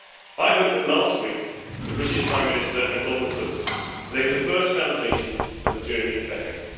I hope that, last week, the British Prime Minister and Donald Tusk laid the first foundations for the journey ahead.